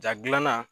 Jaa gilanna